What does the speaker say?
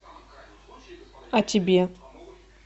а тебе